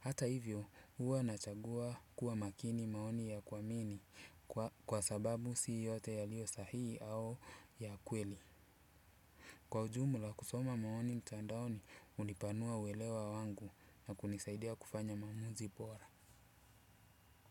Hata hivyo huwa nachagua kuwa makini maoni ya kuamini kwa sababu si yote yalioyo sahihi au ya kweli. Kwa ujumla kusoma maoni mtandaoni hunipanua uelewa wangu na kunisaidia kufanya maamuzi bora.